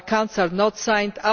Our accounts are signed.